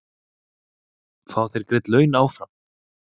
Fá þeir greidd laun áfram?